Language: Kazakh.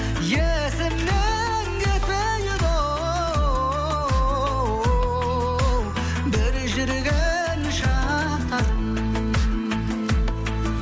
есімнен кетпейді оу бір жүрген шақтарым